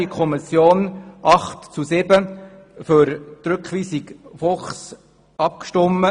Die Kommission hat mit 8 zu 7 Stimmen für den Rückweisungsantrag Fuchs gestimmt.